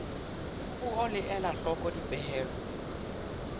puo le ela hloko dipehelo